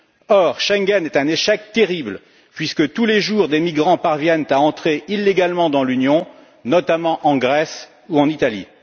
Or, Schengen est un échec terrible puisque, tous les jours, des migrants parviennent à entrer illégalement dans l'Union, notamment en Grèce ou en Italie.